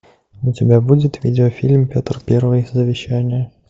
у тебя будет видеофильм петр первый завещание